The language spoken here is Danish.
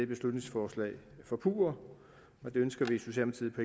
beslutningsforslag forpurre og det ønsker vi